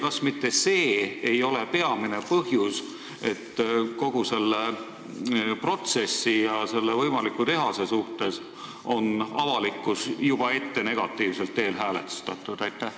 Kas mitte see ei ole peamine põhjus, et kogu selle protsessi ja võimaliku tehase suhtes on avalikkus juba ette negatiivselt häälestatud?